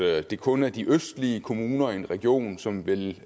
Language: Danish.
at det kun er de østlige kommuner i en region som vil